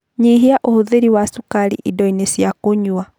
Nyihia ũhũthĩri wa cukari indo-inĩ cia kũnyua